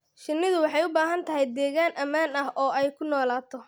Shinnidu waxay u baahan tahay deegaan ammaan ah oo ay ku noolaato.